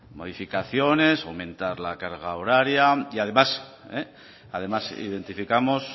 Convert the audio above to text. modificaciones fomentar la carga horaria y además además identificamos